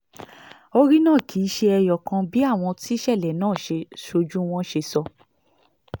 orí náà kì í ṣe ẹyọ kan bí àwọn tíṣẹ̀lẹ̀ náà sójú wọn ṣe sọ